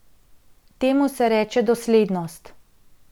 Temu se reče doslednost.